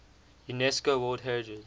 unesco world heritage